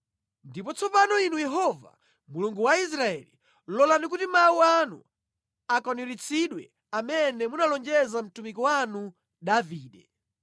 Ndipo tsopano Inu Yehova, Mulungu wa Israeli, lolani kuti mawu anu akwaniritsidwe amene munalonjeza mtumiki wanu Davide.